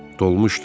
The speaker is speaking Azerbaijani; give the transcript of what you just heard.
Dolmuşdu.